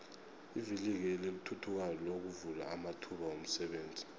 ivikili elithuthukayo lovula amathuba womsebenzi